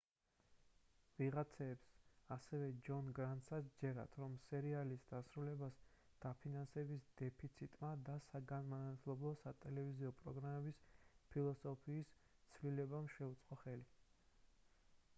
ვიღაცებს და ასევე ჯონ გრანტსაც სჯერათ რომ სერიალის დასრულებას დაფინანსების დეფიციტმა და საგანმანათლებლო სატელევიზიო პროგრამების ფილოსოფიის ცვლილებამ შეუწყო ხელი